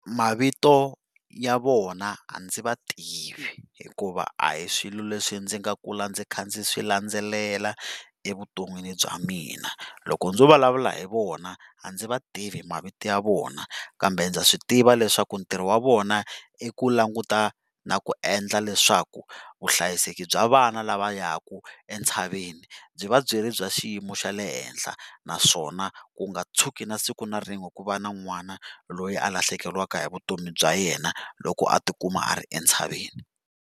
Mavito ya vona a ndzi vativi hikuva a hi swilo leswi ndzi nga kula ndzi kha ndzi swi landzelela evuton'wini bya mina, loko ndzo vulavula hi vona a ndzi vativi mavito ya vona kambe ndza swi tiva leswaku ntirho wa vona i ku languta na ku endla leswaku vuhlayiseki bya vana lava yaka entshaveni byi va byi ri bya xiyimo xa le henhla naswona ku nga tshuki na siku na rin'we ku va na n'wana loyi a lahlekeriwaka hi vutomi bya yena loko a ti kuma a ri entshaveni.